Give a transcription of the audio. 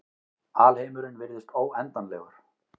Alheimurinn virðist óendanlegur.